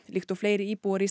líkt og fleiri íbúar í